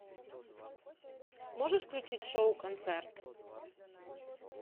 можешь включить шоу концерт